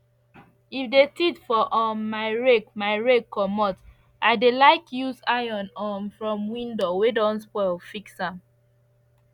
if the teeth for um my rake my rake commot i dey like use iron um from window wey don spoil fix am